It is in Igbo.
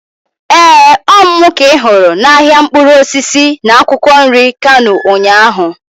Ee, Ọ mụ ka ị hụrụ n'ahịa mkpụrụ osisi na akwụkwọ nri Kano ụnyaahụ.